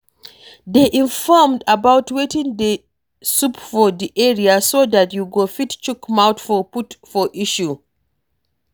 Dey informed about wetin dey sup for di area so dat you go fit chook mouth put for issues